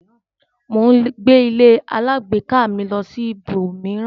Mo ń gbé ílé alágbèéká mi lọ sí ibò mìíràn.